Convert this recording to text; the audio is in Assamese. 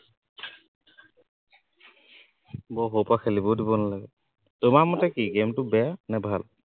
বহুত সৰুৰ পৰা খেলিবও দিব নালাগে, তোমাৰ মতে কি game টো বেয়া নে ভাল